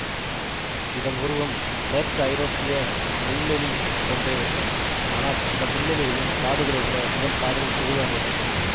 இதன் உருவம் மேற்கு ஐரோப்பிய முள்ளெலி போன்றே இருக்கும் ஆனால் அந்த முள்ளெலிகளின் காதுகளை விட இதன் காதுகள் பெரிதாக இருக்கும்